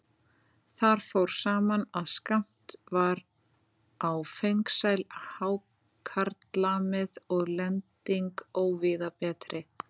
Þar fór saman, að skammt var á fengsæl hákarlamið og lending óvíða betri.